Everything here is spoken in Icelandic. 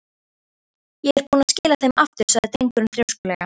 Ég er búinn að skila þeim aftur sagði drengurinn þrjóskulega.